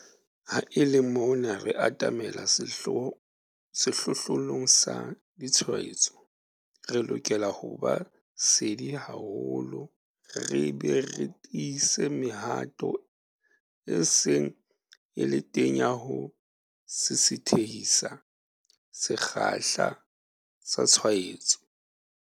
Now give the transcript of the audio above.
Ha e le mona re atamela sehlohlolong sa ditshwaetso, re lokela ho ba sedi haholo re be re tiise mehato e seng e le teng ya ho sisithehisa sekgahla sa tshwaetsano.